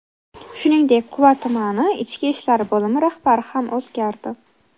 Shuningdek, Quva tumani Ichki ishlar bo‘limi rahbari ham o‘zgardi.